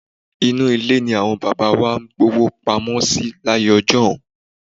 Inú ilé ni àwọn bàbá wa máa ń gbówó pamọ́ sí láyé ọjọ́un.